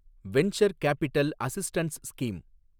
venture capital assistance scheme